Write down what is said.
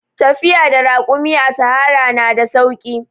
Tafiya da rakumi a sahara na da sauki.